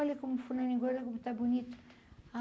Olha como fulaninho, como está bonito.